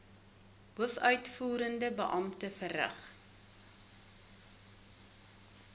hoofuitvoerende beampte verrig